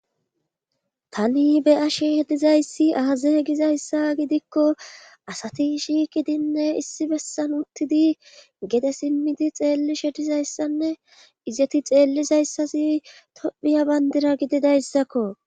Tani be asheh dizayssi aaza gizayssa gidikko asati shi qidinne issi bessan uttidi gede simmidi xeelli shedizayssanne izeti xeellizayssasi tophiya bandira gididayssakko.